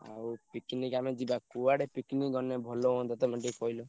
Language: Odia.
ଆଉ picnic ଆମେ ଯିବା କୁଆଡେ picnic ଗଲେ ଭଲ ହୁଅନ୍ତା ତମେ ଟିକେ କହିଲ।